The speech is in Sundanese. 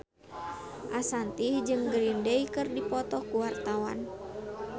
Ashanti jeung Green Day keur dipoto ku wartawan